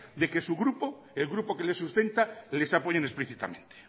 de que su grupo el grupo que les sustenta les apoyen explícitamente